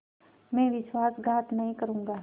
मैं विश्वासघात नहीं करूँगा